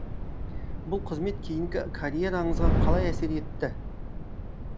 бұл қызмет кейінгі карьераңызға қалай әсер етті